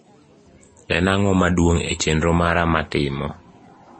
en ang`o maduong e chenro mara matimo